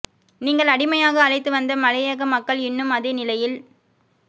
நீங்கள் அடிமையாக அழைத்து வந்த மலையக மக்கள் இன்னும் அதே நிலையில்